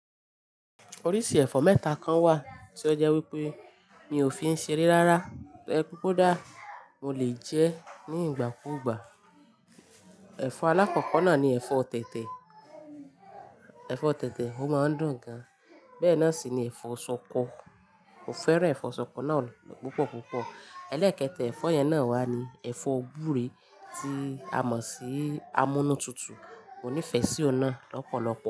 Oríṣi ẹ̀fọ́ mẹ́ta kan wà tí ó jẹ́ wípé mi ò fi ń ṣeré rárá. Tó jẹ pé kòdá, mo lè jẹ́ ní ìgbà kú ìgbà. Ẹ̀fọ́ alákọ̀kọ́ náà ni ẹ̀fọ́ tètè. Ẹ̀fọ́ tètè, ó máa ń dùn gan. Bẹ́ẹ̀ náà sì ni ẹ̀fọ́ ṣọkọ. Kò fẹ́ràn ẹ̀fọ́ ṣọkọ náà púpọ̀ púpọ̀. Ẹlẹ́ẹ̀kẹ́ta ẹ̀fọ́ yẹn náà wá ni ẹ̀fọ́ gbúre tí a mọ̀ sí amúnútutù. Mò nífẹ̀ẹ́ sí ọ̀un nàa lọ́pọ̀lọpọ̀.